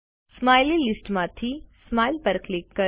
smiley લીસ્ટમાંથી smile પર click કરો